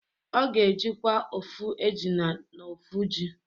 Ọ ga-ejikwa ofu ejina na ofu ji